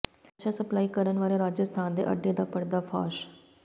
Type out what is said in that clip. ਨਸ਼ਾ ਸਪਲਾਈ ਕਰਨ ਵਾਲੇ ਰਾਜਸਥਾਨ ਦੇ ਅੱਡੇ ਦਾ ਪਰਦਾਫਾਸ਼